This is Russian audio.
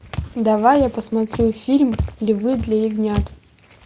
давай я посмотрю фильм львы для ягнят